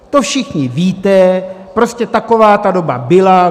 To všichni víte, prostě taková ta doba byla.